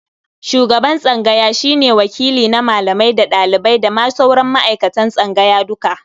Shuban tsangaya shi ne wakili na malamai da ɗalibai da ma sauran ma'aikatan tsangaya duka.